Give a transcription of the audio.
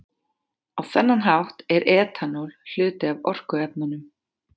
Á þennan hátt er etanól hluti af orkuefnunum.